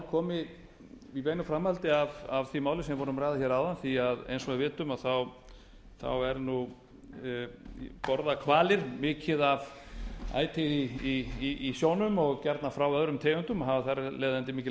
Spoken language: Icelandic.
komi í framhaldi af því máli sem við vorum að ræða áðan því að eins og við vitum borða hvalir mikið af æti í sjónum og gjarnan frá öðrum tegundum og hafa þar af leiðandi mikil